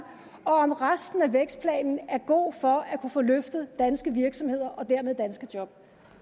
og om resten af vækstplanen er god for at kunne få løftet danske virksomheder og dermed danske job